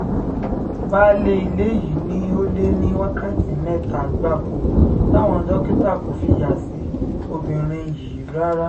baálé ilé yìí ni ó lé ní wákàtí mẹ́ta gbáko táwọn dókítà kò fi yà sí obìnrin yìí rárá